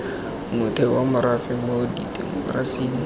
motheo wa morafe mo temokerasing